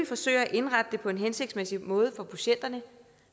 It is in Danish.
forsøger at indrette det hele på en hensigtsmæssig måde for patienterne